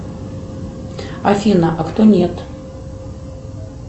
афина а кто нет